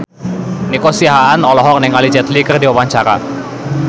Nico Siahaan olohok ningali Jet Li keur diwawancara